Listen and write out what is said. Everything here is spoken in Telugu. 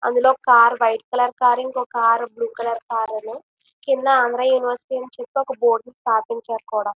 అందులో ఒక కారు వైట్ కలర్ కారు ఇంకొక car blue colour car Andhra university అని బోర్డుని కూడా స్థాపించారు.